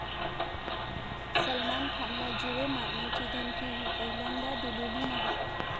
सलमान खानला जीवे मारण्याची धमकी ही पहिल्यांदा दिलेली नाही.